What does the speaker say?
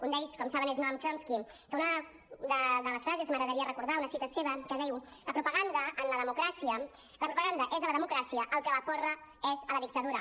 un d’ells com saben és noam chomsky que una de les frases m’agradaria recordar una cita seva que diu la propaganda és a la democràcia el que la porra és a la dictadura